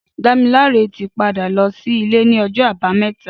Damilare ti pádá lọ silé ni ọjọ àbàámẹ̀tá